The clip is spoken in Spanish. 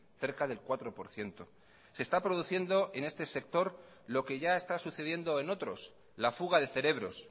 cerca del cuatro por ciento se está produciendo en este sector lo que ya está sucediendo en otros la fuga de cerebros